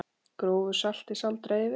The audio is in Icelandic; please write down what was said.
Grófu salti sáldrað yfir.